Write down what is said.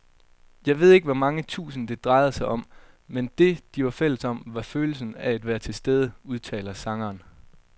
Jeg ved ikke hvor mange tusind, det drejede sig om, men det, de var fælles om, var følelsen af at være tilstede, udtaler sangeren.